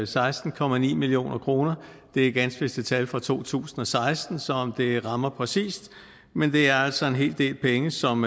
seksten million kroner det er ganske vist et tal fra to tusind og seksten så om det rammer præcist men det er altså en hel del penge som